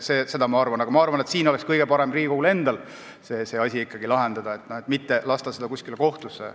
Aga ma arvan, et kõige parem oleks siiski Riigikogul endal see asi ära lahendada, mitte lasta seda kuskile kohtusse.